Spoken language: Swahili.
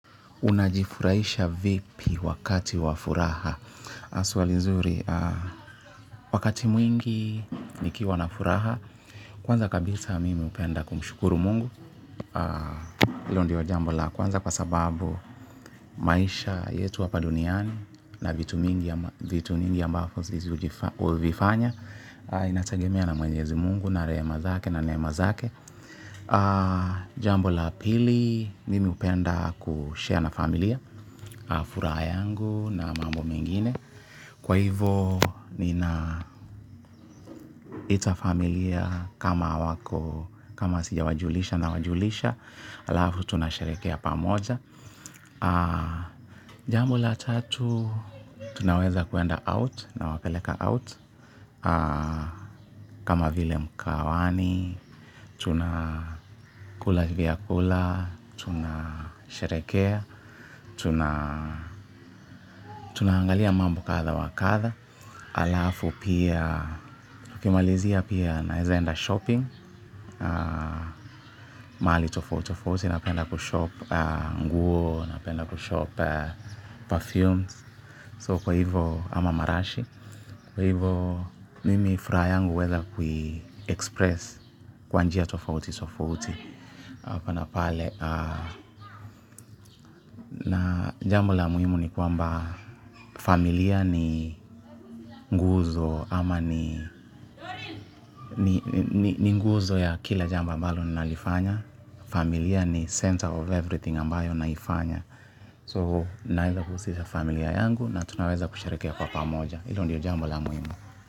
Unajifuraisha vipi wakati wa furaha swali nzuri. Wakati mwingi nikiwa na furaha. Kwanza kabisa mimi upenda kumshukuru mungu. Ilo ndio jambo la kwanza kwa sababu maisha yetu hapa duniani. Na vitu mingi ambafo zizi uvifanya. Inatagemea na mwenyezi mungu na rehema zake na neema zake. Jambo la pili mimi upenda kushare na familia na furaha yangu na mambo mengine. Kwa hivo nina ita familia kama wako, kama sijawajulisha na wajulisha. Alafu tunasherehekea pamoja. Jambo la tatu, tunaweza kuenda out nawapeleka out. Kama vile mkahawani, tunakula vyakula, tunasherehekea, tunaangalia mambo kadha wakadha. Alafu pia kumalizia pia naeza enda shopping mahali tofauti napenda kushop nguo, n penda kushop perfumes so kwa hivo ama marashi kwa hivo mimi furaha yangu uveza kui express kwa njia tofauti tofauti hapa na pale na jambo la muhimu ni kwamba familia ni nguzo ama ni ni nguzo ya kila jambo ambalo nalifanya. Familia ni center of everything ambayo naifanya So naeza kuusisha familia yangu na tunaweza kusharehekea kwa pamoja. Ilo ndiyo jambo la muhimu.